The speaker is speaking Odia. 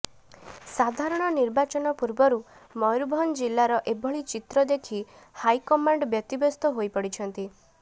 ସାଧାରଣ ନିର୍ବାଚନ ପୂର୍ବରୁ ମୟୂରଭଞ୍ଜ ଜିଲ୍ଲାର ଏଭଳି ଚିତ୍ର ଦେଖି ହାଇକମାଣ୍ଡ ବ୍ୟତିବ୍ୟସ୍ତ ହୋଇପଡିଛନ୍ତି